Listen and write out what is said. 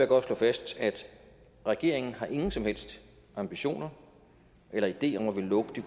godt slå fast at regeringen ikke har nogen som helst ambitioner eller idé om at ville lukke de